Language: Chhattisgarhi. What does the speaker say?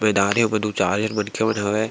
मैदान हे ओमा दो चार झीन मनखे मन हवय --